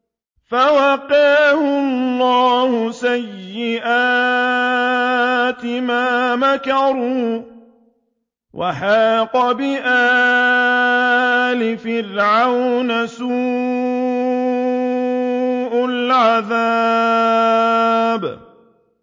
فَوَقَاهُ اللَّهُ سَيِّئَاتِ مَا مَكَرُوا ۖ وَحَاقَ بِآلِ فِرْعَوْنَ سُوءُ الْعَذَابِ